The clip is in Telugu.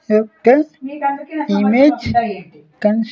F ten image can--